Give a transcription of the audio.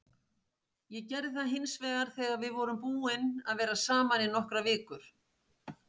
Ég gerði það hins vegar þegar við vorum búin að vera saman í nokkrar vikur.